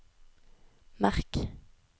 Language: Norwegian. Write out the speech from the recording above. merk